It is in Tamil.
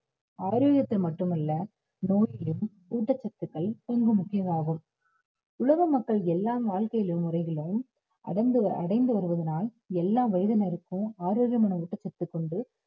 ஆரோக்கியத்தில் மட்டுமல்ல ஊட்டச்சத்துக்கள் ரொம்ப முக்கியமாகும் உலக மக்கள் எல்லாம் வாழ்க்கையிலும் முறையிலும் அடைந்து வருவதனால் எல்லா வயதினருக்கும் ஆரோக்கியமான ஊட்டச்சத்துகொண்டு